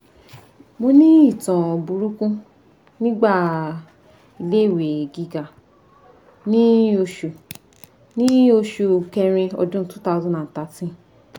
mo ni itan buruku nigba ile iwe giga ni osu ni osu kerin odun 2013